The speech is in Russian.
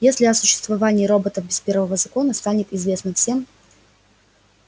если о существовании роботов без первого закона станет известно всем